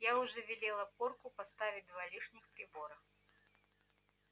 я уже велела порку поставить два лишних прибора